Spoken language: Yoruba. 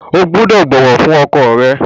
O gbúdọ̀ bọ̀wọ̀ fún ọkọ rẹ!